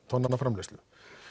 tonna framleiðslu